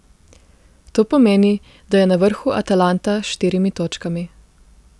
To pomeni, da je na vrhu Atalanta s štirimi točkami.